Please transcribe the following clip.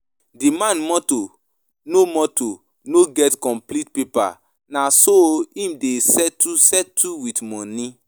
Di man motor no motor no get complete paper, na so im dey settle settle with moni.